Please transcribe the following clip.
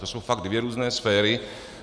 To jsou fakt dvě různé sféry.